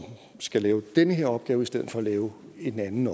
skal lave den her opgave i stedet for at lave en anden